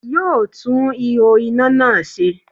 Yóò tún ihò iná náà se